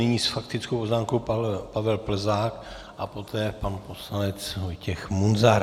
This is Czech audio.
Nyní s faktickou poznámkou Pavel Plzák a poté pan poslanec Vojtěch Munzar.